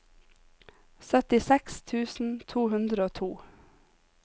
syttiseks tusen to hundre og to